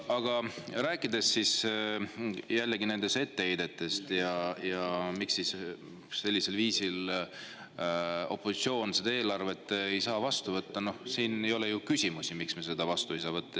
Aga rääkides jällegi nendest etteheidetest ja sellest, miks siis opositsioon sellisel viisil eelarvet ei saa vastu võtta, siis siin ei ole ju tegelikult küsimust, miks me seda vastu võtta ei saa.